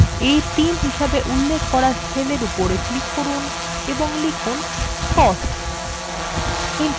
a3 হিসেবে উল্লেখ করা cell উপর click করুন এবং লিখুন costs